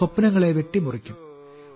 സ്വപ്നങ്ങളെ വെട്ടിമുറിക്കും